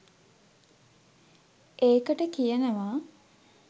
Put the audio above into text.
ඒකට කියනවා